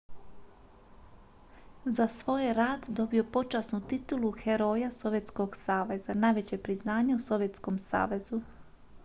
za svoj je rad dobio počasnu titulu heroja sovjetskog saveza najveće priznanje u sovjetskom savezu